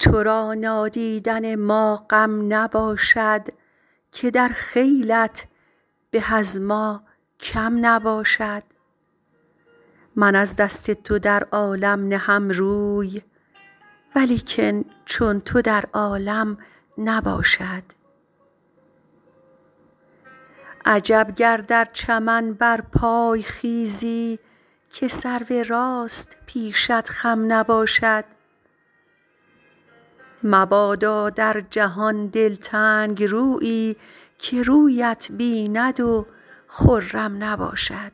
تو را نادیدن ما غم نباشد که در خیلت به از ما کم نباشد من از دست تو در عالم نهم روی ولیکن چون تو در عالم نباشد عجب گر در چمن برپای خیزی که سرو راست پیشت خم نباشد مبادا در جهان دلتنگ رویی که رویت بیند و خرم نباشد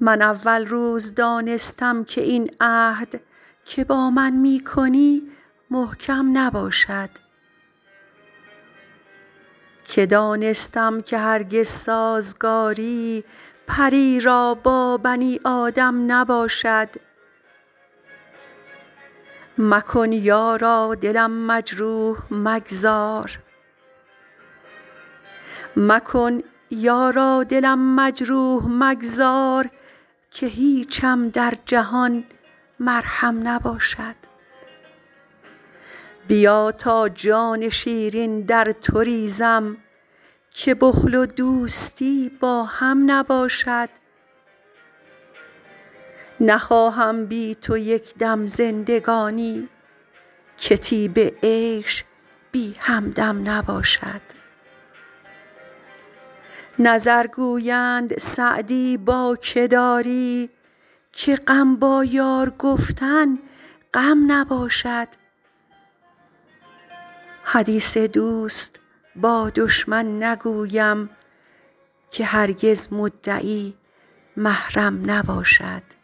من اول روز دانستم که این عهد که با من می کنی محکم نباشد که دانستم که هرگز سازگاری پری را با بنی آدم نباشد مکن یارا دلم مجروح مگذار که هیچم در جهان مرهم نباشد بیا تا جان شیرین در تو ریزم که بخل و دوستی با هم نباشد نخواهم بی تو یک دم زندگانی که طیب عیش بی همدم نباشد نظر گویند سعدی با که داری که غم با یار گفتن غم نباشد حدیث دوست با دشمن نگویم که هرگز مدعی محرم نباشد